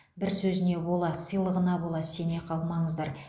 бір сөзіне бола сыйлығына бола сене қалмаңыздар